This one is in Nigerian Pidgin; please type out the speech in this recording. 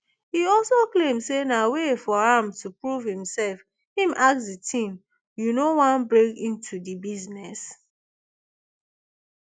e also claim say na way for am to prove himself im ask di teen you no wan break into di business